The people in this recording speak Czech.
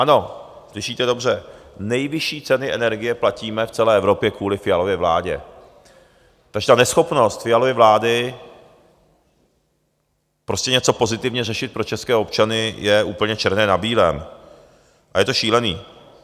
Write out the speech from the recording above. Ano, slyšíte dobře, nejvyšší ceny energie platíme v celé Evropě kvůli Fialově vládě, takže ta neschopnost Fialovy vlády prostě něco pozitivně řešit pro české občany je úplně černé na bílém a je to šílené.